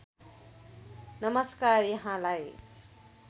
नमस्कार यहाँलाई